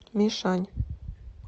мишань